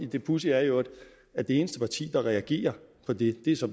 det pudsige er i øvrigt at det eneste parti der reagerer på det det så